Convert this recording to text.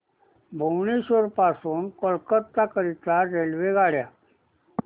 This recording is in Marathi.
भुवनेश्वर पासून कोलकाता करीता रेल्वेगाड्या